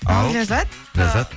ал ләззат ләззат